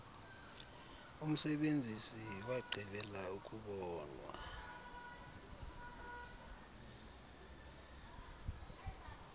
umsebenzisi wagqibela ukubonwa